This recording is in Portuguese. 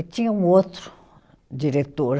E tinha um outro diretor